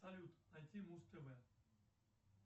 салют найти муз тв